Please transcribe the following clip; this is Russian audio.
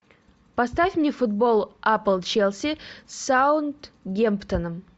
поставь мне футбол апл челси с саутгемптоном